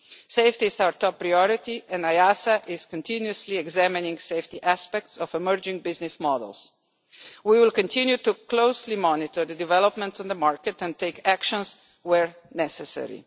Safety is our top priority and EASA is continuously examining the safety aspects of emerging business models. We will continue to closely monitor developments in the market and take action where necessary.